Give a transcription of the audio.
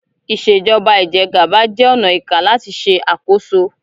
Ìṣèjọba Ìjẹgàba jẹ ọnà ìká làti ṣe àkóso